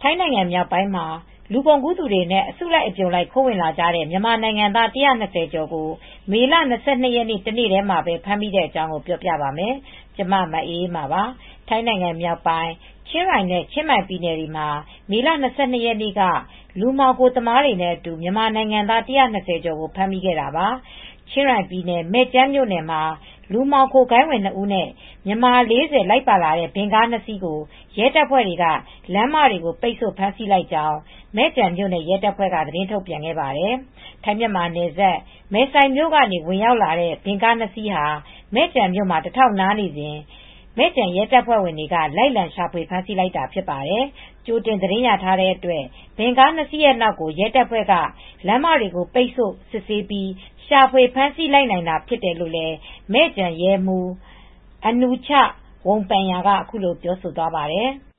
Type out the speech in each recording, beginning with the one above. ထိုင်းနိုင်ငံမြောက်ပိုင်းမှာ လူကုန်ကူးသူတွေနဲ့ အစုလိုက် အပြုံလိုက် ခိုးဝင်လာကြတဲ့ မြန်မာနိုင်ငံသား ၁၂၀ ကျော်ကို မေလ ၂၂ ရက်နေ့ တနေ့တည်းမှာပဲ ဖမ်းမိခဲ့ပါတယ်။ အပြည့်အစုံကို မအေးအေးမာ တင်ပြပေးထားပါတယ်။ ထိုင်းနိုင်ငံမြောက်ပိုင်း ချင်းရိုင်နဲ့ ချင်းမိုင်ပြည်နယ်ထဲမှာ မေလ ၂၂ ရက်နေ့က လူမှောင်ခိုသမားတွေနဲ့အတူ မြန်မာနိုင်ငံသား ၁၂၀ ကျော်ကို ဖမ်းမိခဲ့တာပါ။ ချင်းရိုင်ပြည်နယ် မယ်ကျန်မြို့နယ်မှာ လူမှောင်ခိုဂိုဏ်းဝင် ၂ ဦးနဲ့ မြန်မာ ၄၀ လိုက်ပါလာတဲ့ ဗင်ကားနှစ်စီးကို ရဲတပ်ဖွဲ့က လမ်းမတွေပိတ်ဆို့ ဖမ်းဆီးလိုက်ကြောင်း မယ်ကျန်မြို့နယ် ရဲတပ်ဖွဲ့က သတင်းထုတ်ပြန်ခဲ့ပါတယ်။ ထိုင်း-မြန်မာနယ်စပ် မယ်ဆိုင်မြို့ကနေ ဝင်ရောက်လာတဲ့ ဗင်ကားနှစ်စီးဟာ မယ်ကျန်မြို့မှာ တထောက်နားနေစဉ် မယ်ကျန်ရဲတပ်ဖွဲ့ဝင်တွေက လိုက်လံရှာဖွေ ဖမ်းဆီးလိုက်တာ ဖြစ်ပါတယ်။ ကြိုတင်သတင်းရထားတဲ့အတွက် ဗင်ကားနှစ်စီးရဲ့နောက်ကို ရဲတပ်ဖွဲ့က လမ်းမတွေကို ပိတ်ဆို့စစ်ဆေး ရှာဖွေဖမ်းဆီးလိုက်နိုင်တာ ဖြစ်တယ်လို့ မယ်ကျန်ရဲမှူး Anuchat Wongpanya က အခုလိုပြောသွားပါတယ်။ “တ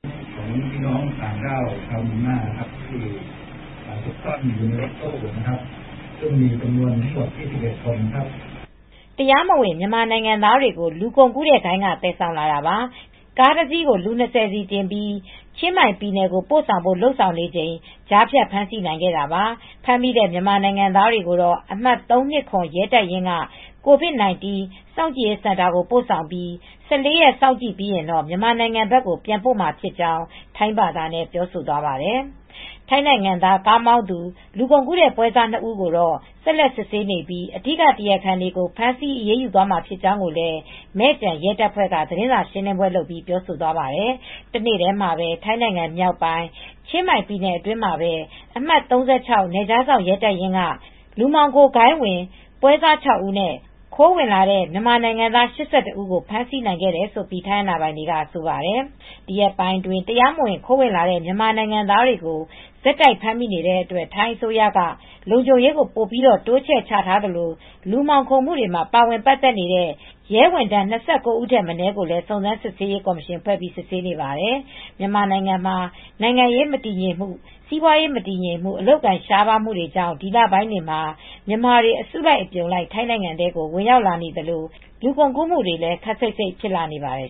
ရားမဝင် မြန်မာနိုင်ငံသားတွေကို လူကုန်ကူးတဲ့ဂိုဏ်းက သယ်ဆောင်လာတာပါ။ ကားတစီးကို လူ ၂၀ စီတင်ပြီး ချင်းမိုင်ပြည်နယ်ကို ပို့ဆောင်ဖို့ လုပ်ဆောင်နေချိန် ကြားဖြတ်ဖမ်းဆီးနိုင်ခဲ့တာပါ။ ဖမ်းမိတဲ့ မြန်မာနိုင်ငံသားတွေကိုတော့ အမှတ် ၃၂၇ ရဲတပ်ရင်းက COVID-19 စောင့်ကြည့်စင်တာကို ပို့ဆောင်ပြီး ၁၄ ရက် စောင့်ကြည့်ပြီး မြန်မာနိုင်ငံဘက် ပြန်ပို့မှာဖြစ်ကြောင်း” ထိုင်းဘာသာနဲ့ ပြောသွားပါတယ်။ ထိုင်းနိုင်ငံသား ကားမောင်းသူ လူကုန်ကူးတဲ့ ပွဲစား ၂ ဦးကိုတော့ ဆက်လက်စစ်ဆေးနေပြီး အဓိကတရားခံတွေကို ဖမ်းဆီးအရေးယူသွားမှာ ဖြစ်ကြောင်းကိုလည်း မယ်ကျန်ရဲတပ်ဖွဲ့က သတင်းစာရှင်းလင်းပွဲ လုပ်ပြီး ပြောသွားပါတယ်။ တနေ့တည်းမှာပဲ ထိုင်းနိုင်ငံမြောက်ပိုင်း ချင်းမိုင်ပြည်နယ်အတွင်းမှာ အမှတ် ၃၆ နယ်ခြားစောင့်ရဲတပ်ရင်းက လူမှောင်ခိုဂိုဏ်းဝင် ပွဲစား ၆ ဦးနဲ့ ခိုးဝင်လာတဲ့ မြန်မာနိုင်ငံသား ၈၁ ဦးကို ဖမ်းဆီးခဲ့တယ်လို့ ထိုင်းအာဏာပိုင်တွေက ဆိုပါတယ်။ ဒီရက်ပိုင်းအတွင်း တရားမဝင် ခိုးဝင်လာတဲ့ မြန်မာနိုင်ငံသားတွေ ဆက်တိုက်ဖမ်းမိနေတဲ့အတွက် ထိုင်းအစိုးရက လုံခြုံရေးကို ပိုပြီး တိုးချထားသလို လူမှောင်ခိုမှုတွေမှာ ပါဝင်ပတ်သက်နေတဲ့ ရဲဝန်ထမ်း ၂၉ ဦးထက်မနည်းကိုလည်း စုံစမ်းစစ်ဆေးရေး ကော်မရှင်ဖွဲ့ စစ်ဆေးနေပါတယ်။ မြန်မာနိုင်ငံမှာ နိုင်ငံရေးမတည်ငြိမ်မှု၊ စီးပွားရေးမတည်ငြိမ်မှု၊ အလုပ်အကိုင် ရှားပါးမှုတွေကြောင့် ဒီလပိုင်းတွေမှာ မြန်မာတွေ အစုလိုက်အပြုံလိုက် ထိုင်းနိုင်ငံထဲကို ဝင်ရောက်လာနေသလို လူကုန်ကူးမှုတွေလည်း ခပ်စိတ်စိတ် ဖြစ်လာနေပါတယ်